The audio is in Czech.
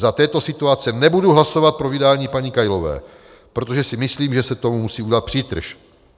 Za této situace nebudu hlasovat pro vydání paní Kailové, protože si myslím, že se tomu musí udělat přítrž.